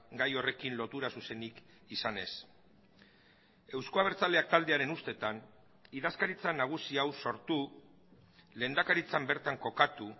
gai horrekin lotura zuzenik izan ez euzko abertzaleak taldearen ustetan idazkaritza nagusia hau sortu lehendakaritzan bertan kokatu